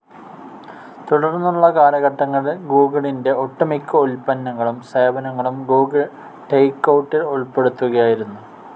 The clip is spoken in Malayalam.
തുടർന്നുള്ള കാലഘട്ടത്തിൽ ഗൂഗിളിന്റെ ഒട്ടുമിക്ക ഉൽപന്നങ്ങളും സേവനങ്ങളും ഗൂഗിൾ ടേക്കൗട്ടിൽ ഉൾപ്പെടുത്തുകയായിരുന്നു.